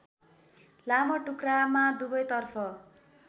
लामो टुक्रामा दुवैतर्फ